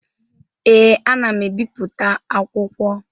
Ee, ana m ebipụta akwụkwọ.